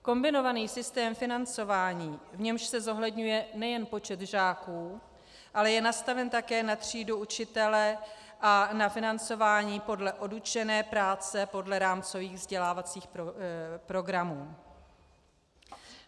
Kombinovaný systém financování, v němž se zohledňuje nejen počet žáků, ale je nastaven také na třídu učitele a na financování podle odučené práce, podle rámcových vzdělávacích programů.